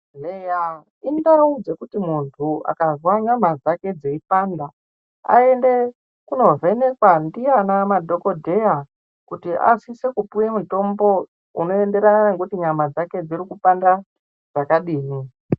Nheya indau dzekuti muntu akanzwa nyama dzake dzeipanda ayende kuno vhenekwa ndiana madhokoteya kuti asise kupiwa mitombo unoenderana nekuti nyama dzake dziri kupanda zvakadini.